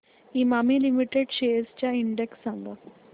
Emami limited shares चा index सांगा